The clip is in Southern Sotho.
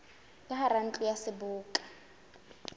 ka hara ntlo ya seboka